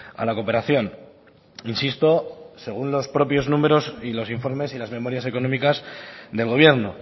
a la cooperación insisto según los propios números y los informes y las memorias económicas del gobierno